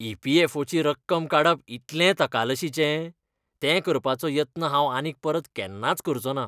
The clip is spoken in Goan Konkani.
ई. पी. ऍफ. ओ. ची रक्कम काडप इतलें तकालशीचें, तें करपाचो यत्न हांव आनीक परत केन्नाच करचों ना.